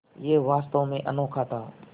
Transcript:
यह वास्तव में अनोखा था